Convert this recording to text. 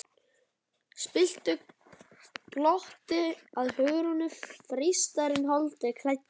spilltu glotti að Hugrúnu, freistarinn holdi klæddur.